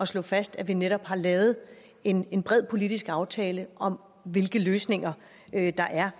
slå fast at vi netop har lavet en en bred politisk aftale om hvilke løsninger der er